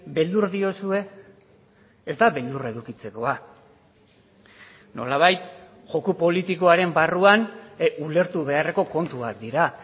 beldur diozue ez da beldurra edukitzekoa nolabait joko politikoaren barruan ulertu beharreko kontuak dira